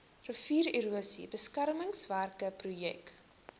riviererosie beskermingswerke projek